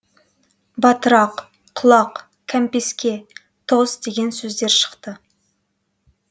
батырақ құлақ кәмпеске тоз деген сөздер шықты